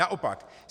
Naopak.